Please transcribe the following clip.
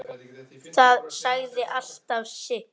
Það sagði alltaf sitt.